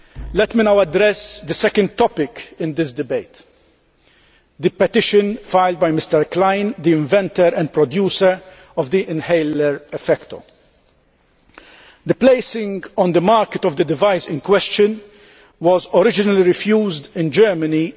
Let me now address the second topic in this debate the petition filed by Mr Klein, the inventor and producer of the inhaler Effecto'. The placing on the market of the device in question was originally refused in Germany in